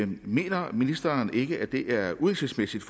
mener ministeren ikke at det er uhensigtsmæssigt